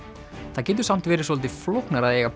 það getur samt verið svolítið flóknara að eiga